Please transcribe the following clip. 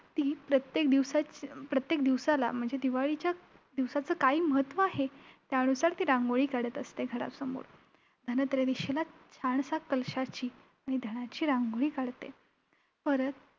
परत ती प्रत्येक दिवसाच~प्रत्येक दिवसाला म्हणजे दिवाळीच्या दिवसाचं काय महत्व आहे त्यानुसार ती रांगोळी काढत असते घरासमोर. धनत्रयोदशीला छानश्या कलशाची आणि धनाची रांगोळी काढते. परत